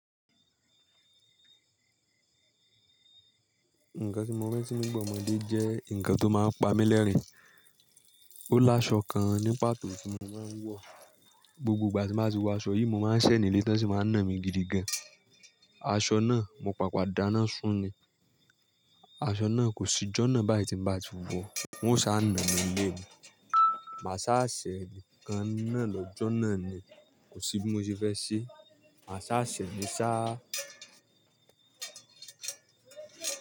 Nǹkan tí mo rántí nígbà ọmọdé jẹ́ nǹkan tó máa ń pa mí lẹ́rìn-ín. Ó lá aṣọ kan ní pàtó tí mo máa ń wọ̀. Gbogbo ìgbà tí mo bá ti wọ aṣọ yìí, mo máa ń ṣẹ̀ nílé t'ọ́n sì máa ń nà mí gidi gan-an. Aṣọ náà mo pàpà dáná sun-ún ni. Aṣọ náà kò síjọ́ náà báyìí tí n bá ti wọ̀ọ́, wọ́n ó ṣáà nà mí ńlé ni. Màá ṣáà ṣẹ̀ kan náà lọ́jọ́ náà ni, kò sí bí mo ṣe fẹ́ ṣeé. Màá ṣáà ṣẹ̀ ni ṣáá.